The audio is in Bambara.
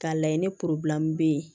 K'a layɛ ni bɛ yen